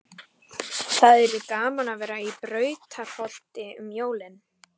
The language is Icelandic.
Það yrði gaman að vera í Brautarholti um jólin.